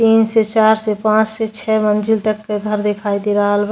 तीन से चार से पांच से छै मंजिल तक के घर दिखाई दे दरहाल बा।